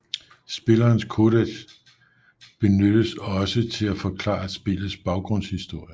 Spillerens codec benyttes også til at forklare spillets baggrundshistorie